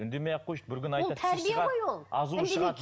үндемей ақ қойшы бір күні айтады тісі шығады азуы шығады